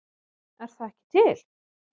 Er það ekki til?